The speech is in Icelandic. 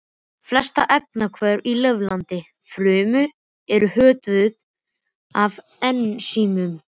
Flest efnahvörf í lifandi frumu eru hvötuð af ensímum.